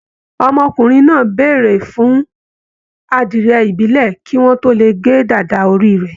Ọmọkùnrin náà béèrè fún adiẹ ibilẹ kí wọn tó lè ge dàda orí rẹ.